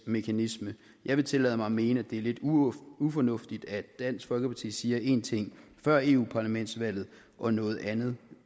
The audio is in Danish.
mekanisme jeg vil tillade mig at mene at det er lidt ufornuftigt at dansk folkeparti siger én ting før europaparlamentsvalget og noget andet